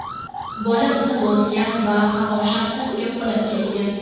Bola uni bosgan va havo shaxtasiga qulab ketgan.